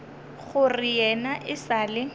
gore yena e sa le